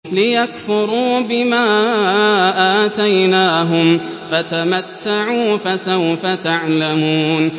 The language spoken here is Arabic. لِيَكْفُرُوا بِمَا آتَيْنَاهُمْ ۚ فَتَمَتَّعُوا فَسَوْفَ تَعْلَمُونَ